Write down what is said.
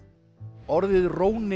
orðið róni